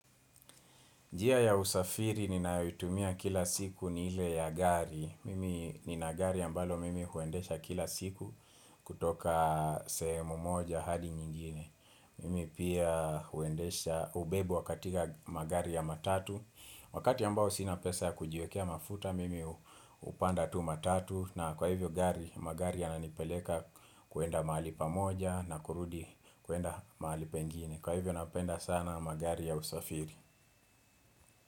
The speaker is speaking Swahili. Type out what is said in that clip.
Njia ya usafiri ninayoitumia kila siku ni ile ya gari. Mimi nina gari ambalo mimi huendesha kila siku kutoka sehemu moja hadi nyingine. Mimi pia huendesha ubebo wa katika magari ya matatu. Wakati ambao sina pesa ya kujiwekea mafuta mimi hupanda tu matatu. Na kwa hivyo gari, magari yananipeleka kuenda mahali pamoja na kurudi kuenda mahali pengine. Kwa hivyo napenda sana magari ya usafiri.